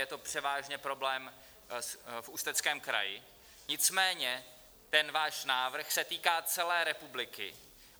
Je to převážně problém v Ústeckém kraji, nicméně ten váš návrh se týká celé republiky.